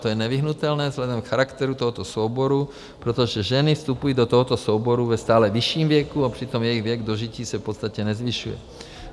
To je nevyhnutelné vzhledem k charakteru tohoto souboru, protože ženy vstupují do tohoto souboru ve stále vyšším věku a přitom jejich věk dožití se v podstatě nezvyšuje.